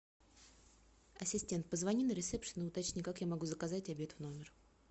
ассистент позвони на ресепшен и уточни как я могу заказать обед в номер